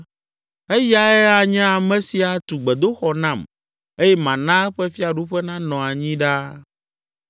Eyae anye ame si atu gbedoxɔ nam eye mana eƒe fiaɖuƒe nanɔ anyi ɖaa.